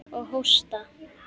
Og hósta.